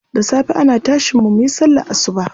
Da safe ana tashin mu muyi sallar asuba.